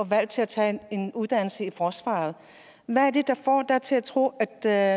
valg til at tage en uddannelse i forsvaret hvad er det der får dig til at tro at der